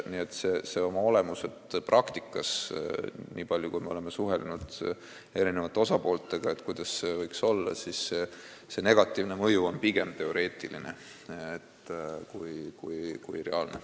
Nii et oma olemuselt praktikas, nagu on selgunud, kui me oleme suhelnud eri osapooltega sel teemal, kuidas see võiks olla, on see negatiivne mõju pigem teoreetiline kui reaalne.